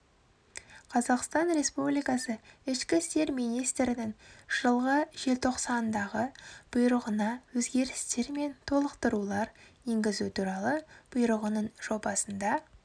қазақстан республикасы ішкі істер министрінің жылғы желтоқсандағы бұйрығына өзгерістер мен толықтырулар енгізу туралы бұйрығының жобасында